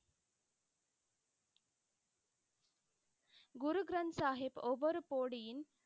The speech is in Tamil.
குரு கிரந்த்சாஹிப் ஒவ்வொரு போடியின்,